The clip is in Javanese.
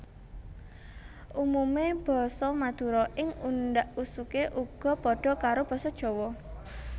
Umumé basa Madura ing undhak usuké uga padha karo Basa Jawa